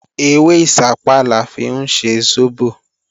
Ewé ìṣápá la fi ń ṣe sóbò